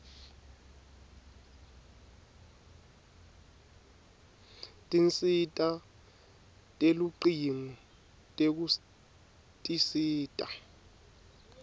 tinsita telucingo tekutisita